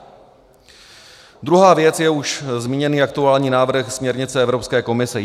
Druhá věc je už zmíněný aktuální návrh směrnice Evropské komise.